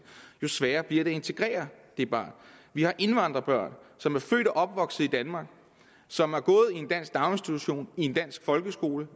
jo sværere bliver det også at integrere dette barn vi har indvandrerbørn som er født og opvokset i danmark som har gået i en dansk daginstitution i en dansk folkeskole